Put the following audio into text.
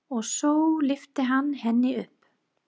Og svo lyfti hann henni upp.